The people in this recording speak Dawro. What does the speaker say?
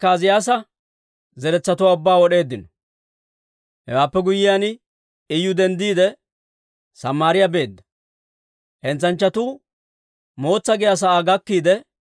Hewaappe guyyiyaan, Iyu denddiide, Samaariyaa beedda. Hentsanchchatuu Mootsaa giyaa sa'aa gakkiidde,